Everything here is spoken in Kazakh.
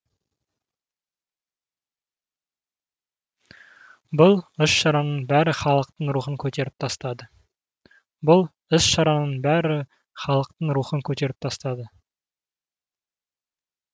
бұл іс шараның бәрі халықтың рухын көтеріп тастады